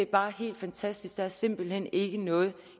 bare helt fantastisk der er simpelt hen ikke noget